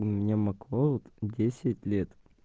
у меня маклауд десять лет